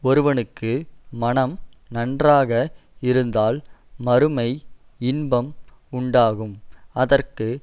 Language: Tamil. ஒருவனுக்கு மனம் நன்றாக இருந்தால் மறுமை இன்பம் உண்டாகும் அதற்கு